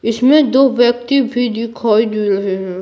इसमें दो व्यक्ति भी दिखाई दे रहे हैं।